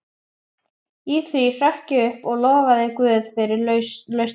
Í því hrökk ég upp og lofaði guð fyrir lausnina.